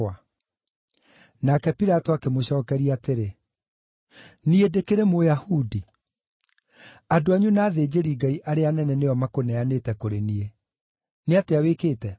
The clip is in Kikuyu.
Nake Pilato akĩmũcookeria atĩrĩ, “Niĩ ndĩkĩrĩ Mũyahudi? Andũ anyu na athĩnjĩri-Ngai arĩa anene nĩo makũneanĩte kũrĩ niĩ. Nĩ atĩa wĩkĩte?”